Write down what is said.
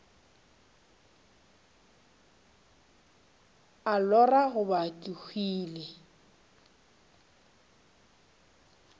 a lora goba ke hwile